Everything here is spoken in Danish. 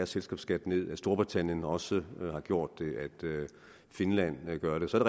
selskabsskat nederst storbritannien har også gjort det og finland gør det så er